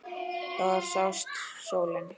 Þar sást sólin fyrr.